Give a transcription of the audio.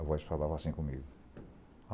A voz falava assim comigo.